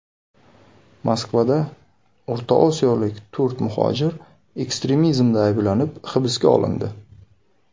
Moskvada o‘rta osiyolik to‘rt muhojir ekstremizmda ayblanib hibsga olindi.